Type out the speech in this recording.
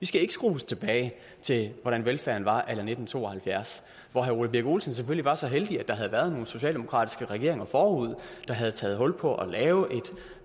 skal ikke skrues tilbage til hvordan velfærden var a la nitten to og halvfjerds hvor herre ole birk olesen selvfølgelig var så heldig at der havde været nogle socialdemokratiske regeringer forud der havde taget hul på at lave